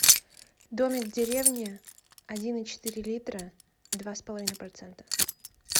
домик в деревне один и четыре литра два с половиной процента